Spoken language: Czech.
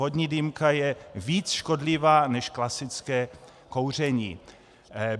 Vodní dýmka je více škodlivá než klasické kouření.